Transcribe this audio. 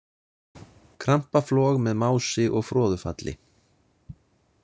Krampaflog með mási og froðufalli.